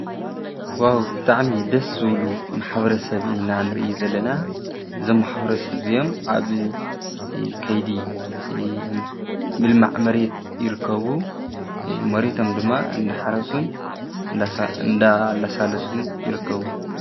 ዋው ብጣዕሚ ደስ ዝብሉ ማሕበረሰብ ኢና ንርኢ ዘለና እዞም ማሕበረሰብ እዚኦም ኣብ ከይዲ ምልማዕ መሬት ይርከቡ፤ መሬቶም ድማ እንዳሓረሱን እንዳላሳለሱን ይርከቡ።